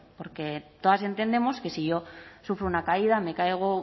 porque todas entendemos que si yo sufro una caída me caigo